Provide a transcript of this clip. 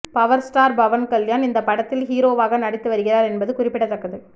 power star Pawan Kalyan இந்த படத்தில் ஹீரோவாக நடித்து வருகிறார் என்பது குறிப்பிடத்தக்கது